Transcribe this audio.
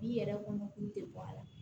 Bi yɛrɛ kɔnɔ k'u tɛ bɔ a la